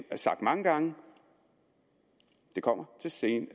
sagt mange gange så kommer